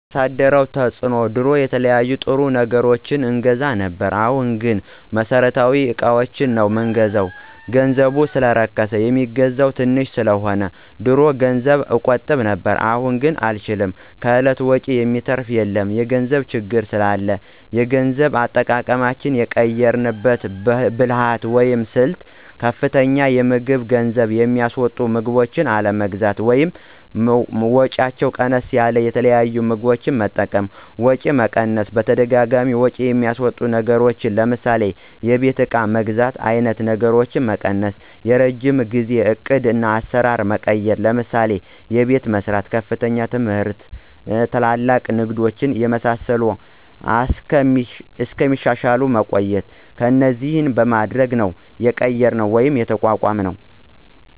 ያሳደረው ተፅዕኖ ድሮ የተለያዩ ጥሩ ወይም አሪፍ ነገሮችን አገዛ ነብር አሁን ግንቦት መሠረታዊ እቃዎችን ነው ምንገዛው ገንዘቡ ሰለረከስ የሚገዛው ተንሽ ሰለሆነ። ድሮ ገንዘብ እቆጥብ ነብር አሁን አንችልም ከእለት ወጭ የሚተራፍ የለም የገንዘብ ችግር ስላላ የገንዘብ አጠቃቀማችን የቀየራንበት ብልህት ወይም ስልት ለምሳሌ፦ ከፍተኛ የምግብ ገንዝብ የሚስወጡ ምግቦችን አለመግዛት ወይም ወጫቸው ቀነስ ያሉት የተለያዩ ምግቦች መጠቀም፣ ወጪ መቀነስ በተደጋጋሚ ወጭ የሚያስወጡ ነገሮችን ለምሳሌ የቤት እቃ መግዛት አይነት ነገሮችን መቀነሰ፣ የረጅም ጊዜው ዕቅድ አሰራር ማቆየት ለምሳሌ፦ አቤት መሰራት፣ ከፍተኛ ትምህርት ትላልቅ እንግዶች የመሳሰሉት እስከሚሻሻል ማቆየት እነዚህን በማድረግ ነው የቀየራነው ወይም የተቋቋምነውደ